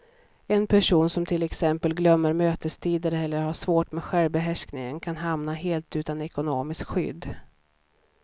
En person som till exempel glömmer mötestider eller har svårt med självbehärskningen kan hamna helt utan ekonomiskt skydd.